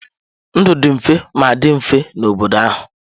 Ndụ dị mfe ma dị mfe n'obodo ahụ.